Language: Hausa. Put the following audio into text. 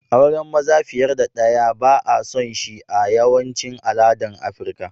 Auren maza fiyar da daya ba'a son shi a yawacin aladan Aprica.